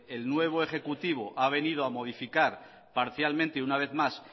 el nuevo ejecutivo ha venido a modificar parcialmente una vez más